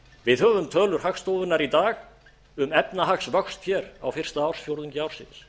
við höfum tölur hagstofunnar í dag um efnahagsvöxt hér á fyrsta ársfjórðungi ársins